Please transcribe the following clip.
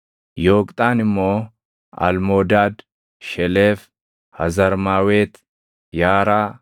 Yooqxaan immoo Almoodaad, Sheleef, Hazarmaawet, Yaaraa,